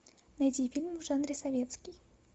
найди фильм в жанре советский